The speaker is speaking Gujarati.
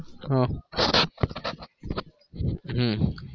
હા હમ